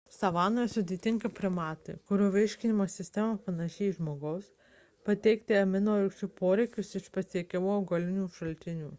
savanoje sudėtinga primatui kurio virškinimo sistema panaši į žmogaus patenkinti aminorūgščių poreikius iš pasiekiamų augalinių šaltinių